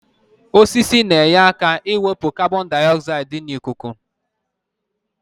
Osisi na-enye aka ịwepụ kabọndaịozaịdị dị n'ikuku.